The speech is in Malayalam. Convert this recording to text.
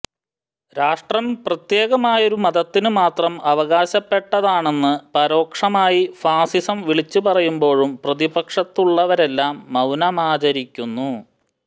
രാഷ്ട്രം പ്രത്യേകമായൊരു മതത്തിന് മാത്രം അവകാശപ്പെട്ടതാണെന്ന് പരോക്ഷമായി ഫാസിസം വിളിച്ചു പറയുമ്പോഴും പ്രതിപക്ഷത്തുള്ളവരെല്ലാം മൌനമാചരിക്കുന്നു